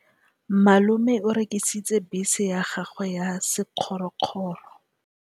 Malome o rekisitse bese ya gagwe ya sekgorokgoro.